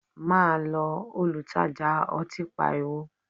Ma lọ! Olutaja ọtí pariwo